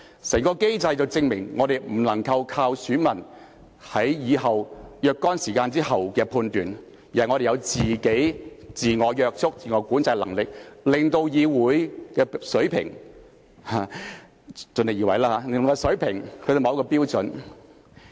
整個機制證明了我們不能夠依靠選民在若干時間後的判斷，而是我們有自我約束和自我管制的能力，令議會的水平——我們盡力而為吧——達至某個標準。